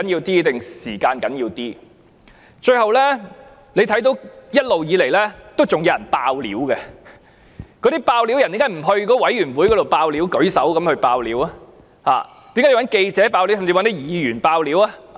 最後，大家看到一直以來仍有人出來"爆料"，他們為何不向政府的獨立調查委員會"爆料"，而是要向記者和議員"爆料"？